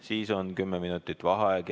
Siis on kümme minutit vaheaega.